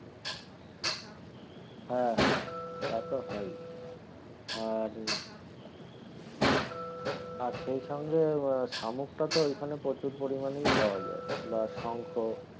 হ্যাঁ হ্যাঁ তাতো হয়ই আর আর সেই সঙ্গে শামুকটা তো এখানে প্রচুর পরিমানেই পাওয়া যায় বা শঙ্খ,